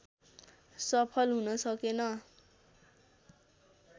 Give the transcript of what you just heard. सफल हुन सकेन